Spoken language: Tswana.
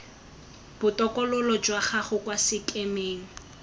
botokololo jwa gago kwa sekemeng